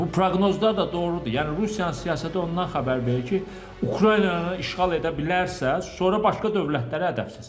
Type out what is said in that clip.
Bu proqnozlar da doğrudur, yəni Rusiyanın siyasəti ondan xəbər verir ki, Ukraynanı işğal edə bilərsə, sonra başqa dövlətlərə də əl atacaq.